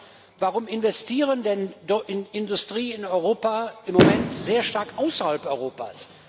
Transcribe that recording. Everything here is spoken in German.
Oder warum investiert denn die Industrie in Europa im Moment sehr stark außerhalb Europas?